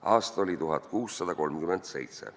" Aasta oli 1637.